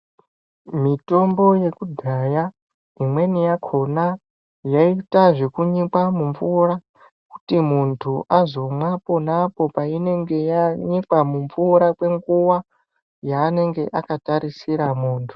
Mitombo yekudhaya imweni yakhona yaiita zvekunyikwa mumvura kuti muntu azomwa ponapo painenge yanyikwa mumvura kwenguva yaanenge akatarisira muntu.